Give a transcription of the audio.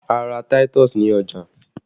A ra táítọ̀sì ní ọjà